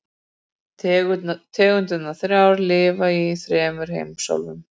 Tegundirnar þrjár lifa í þremur heimsálfum.